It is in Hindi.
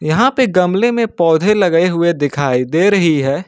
यहां पे गमले में पौधे लगे हुए दिखाई दे रही है।